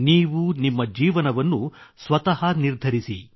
ನೀವು ನಿಮ್ಮ ಜೀವನವನ್ನು ಸ್ವತಃ ನಿರ್ಧರಿಸಿ